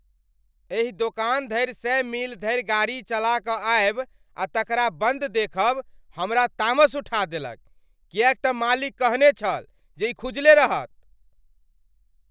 एहि दोकान धरि सए मील धरि गाड़ी चला कऽ आयब आ तकरा बन्द देखब हमरा तामस उठा देलक किएक तँ मालिक कहने छल जे ई खुजले रहत।